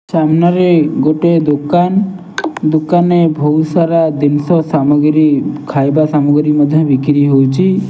ସାମ୍ନାରେ ଗୁଟେ ଦୁକାନ ଦୁକାନେ ବହୁତସାରା଼ ଜିନିଷ ସାମଗିରି ଖାଇବା ସାମଗିରି ମଧ୍ୟ ବିକିରି ହଉଛି।